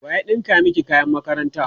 waye ya ɗinka maki kayan makaranta?